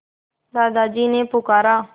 दादाजी ने पुकारा